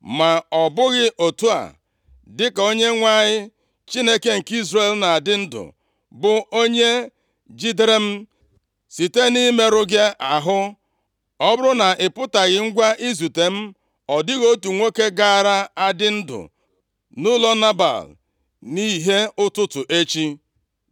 Ma ọ bụghị otu a, dịka Onyenwe anyị Chineke nke Izrel na-adị ndụ, bụ onye jidere m site nʼimerụ gị ahụ, ọ bụrụ na ị pụtaghị ngwa izute m, ọ dịghị otu nwoke gaara adị ndụ nʼụlọ Nebal nʼìhè ụtụtụ echi.”